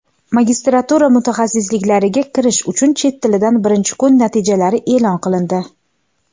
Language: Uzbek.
Magistratura mutaxassisliklariga kirish uchun chet tilidan birinchi kun natijalari e’lon qilindi.